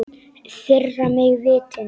Firra mig vitinu.